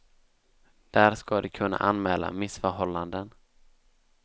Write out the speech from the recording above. Där ska de kunna anmäla missförhållanden.